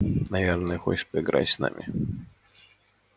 наверное хочет поиграть с нами